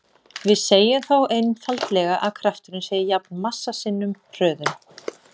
Við segjum þá einfaldlega að krafturinn sé jafn massa sinnum hröðun.